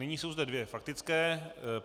Nyní jsou zde dvě faktické.